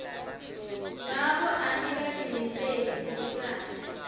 ngako angikatimiseli kulibala